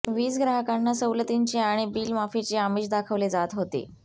वीजग्राहकांना सवलतींचे आणि बिल माफीचे आमिष दाखविले जात होते